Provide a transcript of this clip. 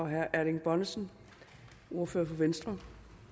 herre erling bonnesen som ordfører for venstre